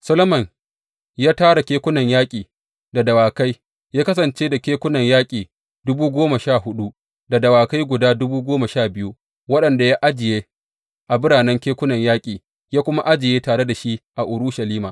Solomon ya tara kekunan yaƙi da dawakai; ya kasance da kekunan yaƙi dubu goma sha huɗu, da dawakai dubu goma sha biyu waɗanda ya ajiye a biranen kekunan yaƙi, ya kuma ajiye tare da shi a Urushalima.